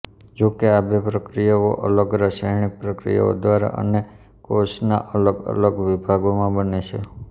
જોકે આ બે પ્રક્રિયાઓ અલગ રસાયણિક પ્રક્રિયા દ્વારા અને કોષના અલગ અલગ વિભાગમાં બને છે